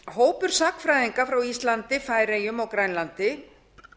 hópur sagnfræðinga frá íslandi færeyjum og grænlandi